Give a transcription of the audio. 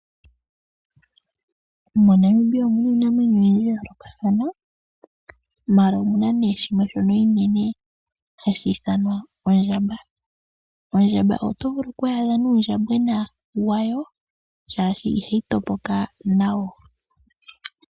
Mo Namibia omuna iinamwenyo oyindji ya yoo lokathana maala omuna nee shimwe shomiinene ha shi ithanwa ondjamba ,ondjamba otwaadha yili nuu ndjambwena wayo.